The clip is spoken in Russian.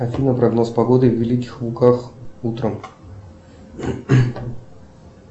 афина прогноз погоды в великих луках утром